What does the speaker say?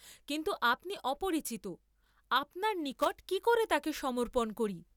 কিন্তু আপনি অপরিচিত, আপনার নিকট কি করে তাকে সমর্পণ করি।